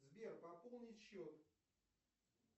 сбер пополнить счет